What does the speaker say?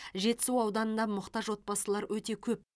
жетісу ауданында мұқтаж отбасылар өте көп